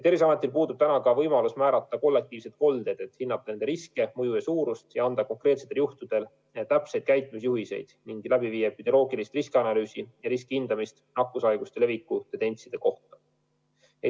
Terviseametil puudub praegu ka võimalus määrata kollektiivseid koldeid, et hinnata riski, pandeemia mõju ja suurust ning anda konkreetsetel juhtudel täpseid käitumisjuhiseid, läbi viia epidemioloogilist riskianalüüsi ja riskihindamist nakkushaiguste leviku tendentside kohta.